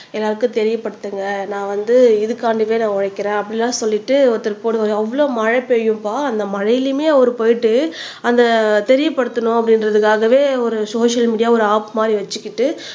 எல்லாருக்கும் தெரியப்படுத்துங்க நான் வந்து இதுக்காண்டிவே நான் உழைக்கிறேன் அப்படியெல்லாம் சொல்லிட்டு ஒருத்தர் போடுவாரு அவ்வளவு மழை பெய்யும்பா அந்த மழையிலுமே அவர் போயிட்டு அந்த தெரியப்படுத்தணும் அப்படின்றதுக்காகவே ஒரு சோசியல் மீடியா ஒரு ஆப் மாரி வச்சுக்கிட்டு